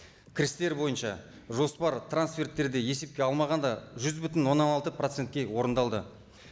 кірістер бойынша жоспар трансферттерді есепке алмағанда жүз бүтін оннан алты процентке орындалды